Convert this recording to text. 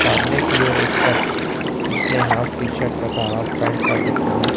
सामने की ओर एक सख्श जिसने हॉफ टी शर्ट तथा हॉफ पेंट पहन रखी है।